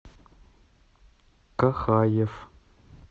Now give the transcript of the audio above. кахаев